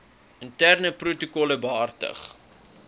interne protokolle behartig